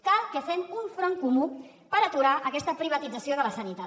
cal que fem un front comú per aturar aquesta privatització de la sanitat